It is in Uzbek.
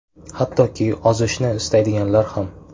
Hattoki ozishni istaydiganlar ham.